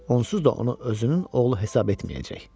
Onsuz da onu özünün oğlu hesab etməyəcək.